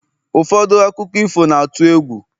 ụfọdụ akụkọ ifo na-atụ egwu